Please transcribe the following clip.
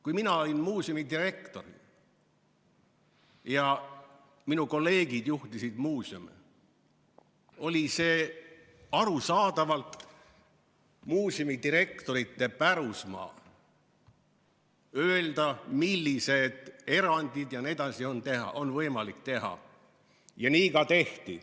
Kui mina olin muuseumidirektor ja minu kolleegid juhtisid muuseume, oli see arusaadavalt muuseumidirektorite pärusmaa öelda, milliseid erandeid jne on võimalik teha ja nii ka tehti.